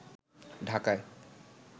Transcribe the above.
ঢাকায়